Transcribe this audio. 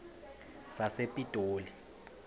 sasepitoli